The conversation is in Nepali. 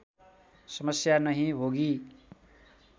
समस्या नही होगी